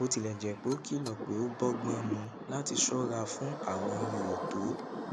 bó tilè jé pé ó kìlò pé ó bógbón mu láti ṣóra fún àwọn ihò tó